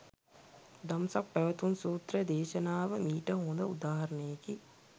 දම්සක් පැවතුම් සූත්‍ර දේශනාව මීට හොඳ උදාහරණයකි.